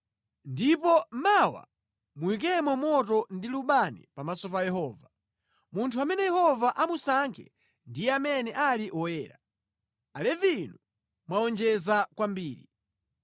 ndipo mawa muyikemo moto ndi lubani pamaso pa Yehova. Munthu amene Yehova amusankhe ndiye amene ali woyera. Alevi inu mwawonjeza kwambiri!”